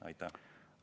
Aitäh!